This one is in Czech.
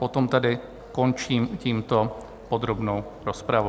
Potom tedy končím tímto podrobnou rozpravu.